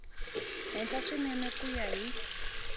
henhla swinene ku ya hi